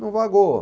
Não vagou.